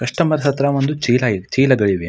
Customer ಹತ್ರ ಒಂನೆಂದು ಚೀಲ ಚೀಲಗಳಿವೆ.